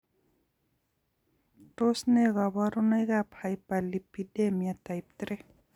Tos ne kabarunoik ab hyperlipidemia type 3?